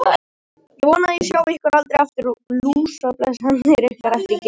Ég vona að ég sjái ykkur aldrei aftur, lúsablesarnir ykkar, æpti Geir.